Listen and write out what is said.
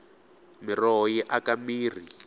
miroho yi aka mirhi